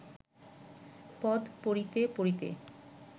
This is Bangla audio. পদ পড়িতে পড়িতে